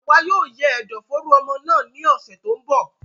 Àwa yóò yẹ ẹdọ fooro ọmọ náà ní ọsẹ tó n bọ